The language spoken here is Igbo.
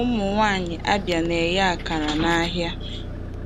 Ụmụnwaanyị Abia na-eghe akara nahịa.